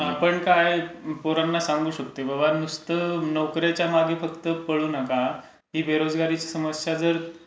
आपण काय पोरांना सांगू शकतो. बाबा, नुसते नोकरीच्या मागे फक्त पळू नका ती बेरोजगारीची समस्या जर